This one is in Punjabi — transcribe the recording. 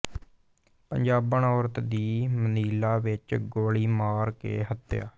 ਪੰਜਾਬਣ ਔਰਤ ਦੀ ਮਨੀਲਾ ਵਿੱਚ ਗੋਲੀ ਮਾਰ ਕੇ ਹੱਤਿਆ